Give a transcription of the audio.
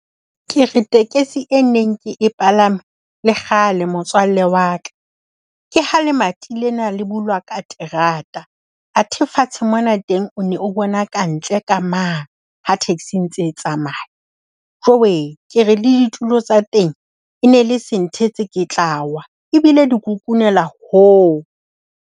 Ke re tekesi e neng ke e palame le kgale motswalle wa ka. Ke ha lemati lena le bulwa ka terata. Athe fatshe mona teng o ne o bona ka ntle ka mane ha taxi e ntse e tsamaya. Jowee, ke re le ditulo tsa teng, e ne le se nthetse ke tla wa, ebile di kukunela hoo.